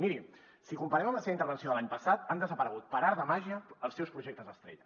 miri si comparem amb la seva intervenció de l’any passat han desaparegut per art de màgia els seus projectes estrella